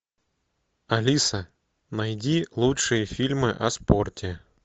алиса найди лучшие фильмы о спорте